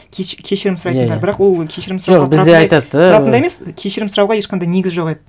кешірім сұрайтындар иә иә бірақ ол кешірім сұрауға тұратындай емес кешірім сұрауға ешқандай негіз жоқ еді